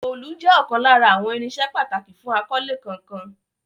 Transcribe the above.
Òòlù jẹ́ ọ̀kan lára àwọn irinṣẹ́ pàtàkì fún akọ́lé kankan.